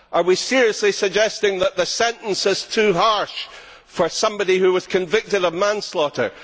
Are we seriously suggesting that the sentence is too harsh for somebody who was convicted of manslaughter?